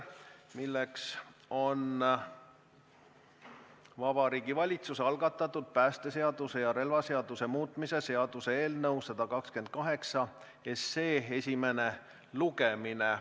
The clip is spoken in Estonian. See on Vabariigi Valitsuse algatatud päästeseaduse ja relvaseaduse muutmise seaduse eelnõu 128 esimene lugemine.